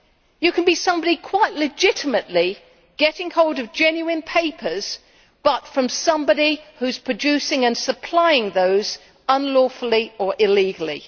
You can be somebody quite legitimately getting hold of genuine papers but from somebody who is producing and supplying them unlawfully or illegally.